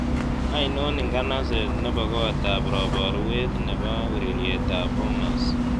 Ainon inganaseet ne po kotap roboruet ne po urerietap bomas